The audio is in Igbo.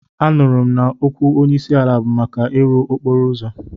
Anụrụ m na okwu onyeisiala bụ maka ịrụ okporo ụzọ.